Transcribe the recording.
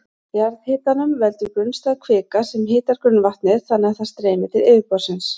Jarðhitanum veldur grunnstæð kvika sem hitar grunnvatnið þannig að það streymir til yfirborðsins.